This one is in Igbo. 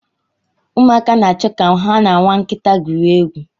Ụmụaka na-achọ ka ha na nwa nkịta gwurie egwu.